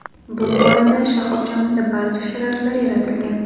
Bu borada shoxobchamizda barcha sharoitlar yaratilgan.